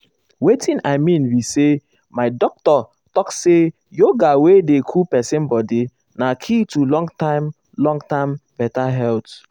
watin i mean be say my doctor talk say yoga wey dey cool person body na key to long-term long-term better health.